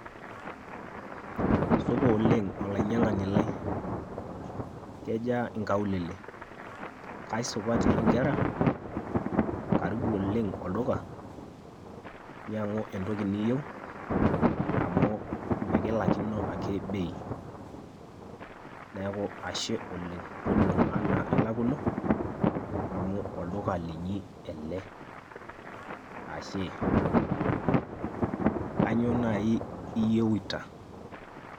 Supa oleng' olainyang'ani lai. Kejaa inkaulele? Kaisupati inkera? Karibu oleng' olduka nyang'u entoki niyieu amu mikilaikino ake bei. Neeku ashe oleng'. Toning'o enaa ilakuno, amu olduka linyi ele. Ashe. Kainyoo nai iyieuta?